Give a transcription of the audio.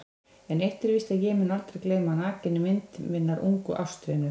En eitt er víst að ég mun aldrei gleyma nakinni mynd minnar ungu ástvinu.